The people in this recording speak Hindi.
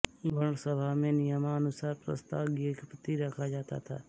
गणसभा में नियमानुसार प्रस्ताव ज्ञप्ति रखा जाता था